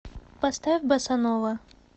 поставь босанова